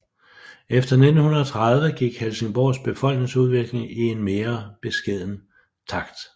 Efter 1930 gik Helsingborgs befolkningsudvikling i en mere beskeden takt